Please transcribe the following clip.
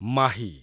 Mahi